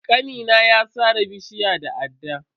Kanina ya na sare bishiyar da adda.